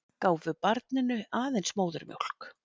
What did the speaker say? Gáfu barninu aðeins móðurmjólk